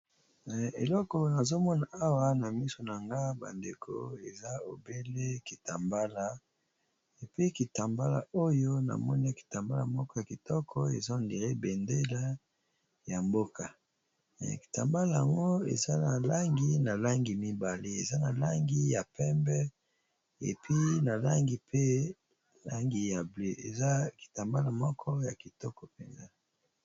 eleko nazomona awa na miso na nga bandeko eza obele kitambala epi kitambala oyo namoni kitambala moko ya kitoko ezo ndire bendele ya mboka kitambala ango eza na langi na langi mibale eza na langi ya pembe epi na langi pe langi ya ble eza kitambala moko ya kitoko mpenza